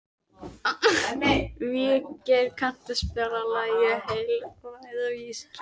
Végeir, kanntu að spila lagið „Heilræðavísur“?